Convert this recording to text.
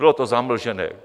Bylo to zamlžené.